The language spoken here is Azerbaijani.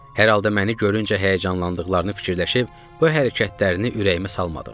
Hər halda məni görüncə həyəcanlandıqlarını fikirləşib bu hərəkətlərini ürəyimə salmadım.